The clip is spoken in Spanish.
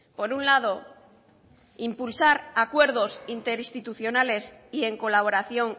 por un lado impulsar acuerdos interinstitucionales y en colaboración